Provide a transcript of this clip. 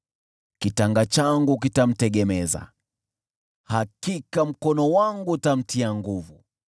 Kitanga changu kitamtegemeza, hakika mkono wangu utamtia nguvu.